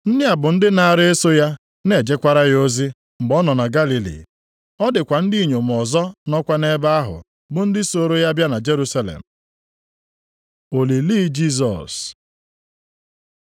Ndị a bụ ndị naara eso ya na-ejekwara ya ozi, mgbe ọ nọ na Galili. Ọ dịkwa ndị inyom ọzọ nọkwa nʼebe ahụ, bụ ndị sooro ya bịa na Jerusalem. Olili Jisọs